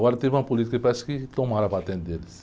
Agora teve uma política que parece que tomaram a patente deles.